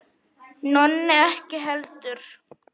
Nonni ekki heldur.